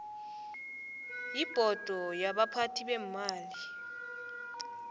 yibhodo yabaphathi beemali